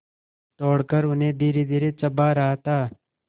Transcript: तोड़कर उन्हें धीरेधीरे चबा रहा था